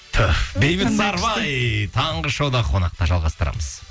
түһ бейбіт сарыбай таңғы шоуда қонақта жалғастырамыз